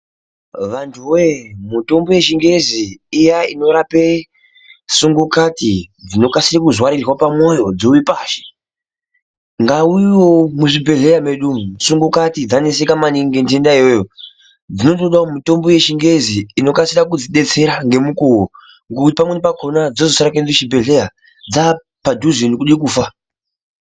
Vantu woye mitombo yechingezi iya inorape sungukati dzinokasire kuzarirwe pamwoyo dzowe pashi ngaiuyewo muzvibhehlera medu umu, sungukati dzaneseka maningi ngenhenda iyoyo dzinotodawo mutombe yechingezi inokasira kudzidetsera ngemukuwo ngokuti pamweni pakona dzinozosare kude kuende kuchibhehleya dzapadhuze nekude kufa.